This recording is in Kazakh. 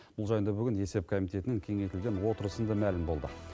бұл жайында бүгін есеп комитетінің кеңейтілген отырысында мәлім болды